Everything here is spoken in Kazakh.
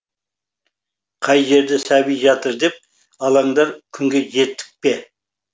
қай жерде сәби жатыр деп алаңдар күнге жеттік пе